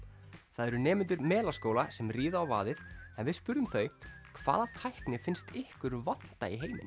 það eru nemendur Melaskóla sem ríða á vaðið en við spurðum þau hvaða tækni finnst ykkur vanta í heiminn